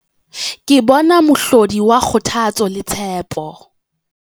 Ke bona mohlodi wa kgothatso le tshepo.